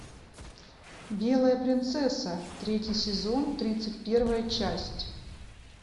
белая принцесса третий сезон тридцать первая часть